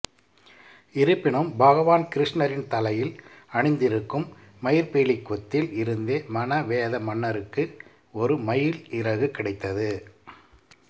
இருப்பினும் பகவான் கிருஷ்ணரின் தலையில் அணிந்திருக்கும் மயிற்பீலிக் கொத்தில் இருந்து மனவேத மன்னருக்கு ஒரு மயில் இறகு கிடைத்தது